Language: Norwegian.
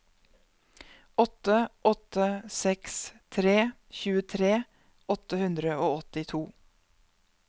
åtte åtte seks tre tjuetre åtte hundre og åttito